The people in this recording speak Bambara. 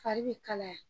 Fari bɛ kalaya